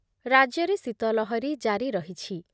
ରାଜ୍ୟରେ ଶୀତଲହରୀ ଜାରି ରହିଛି।